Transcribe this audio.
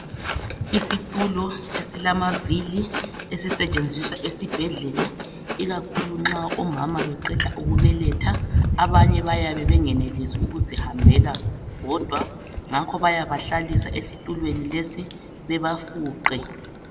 isitulo esilamavili esisetshenziswa esibhedlela ikakhulu omama nxa beqeda ukubeletha abanye bayabe bengenelisis ukuzihambela bodwa ngakho bayabahlalisa esitulweni lesi bebafuqe